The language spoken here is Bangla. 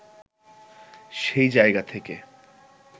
সেই জায়গা থেকে